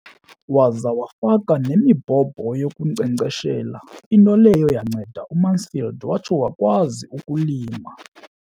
Waza wafaka nemibhobho yokunkcenkceshela, into leyo yanceda uMansfield watsho wakwazi ukulima.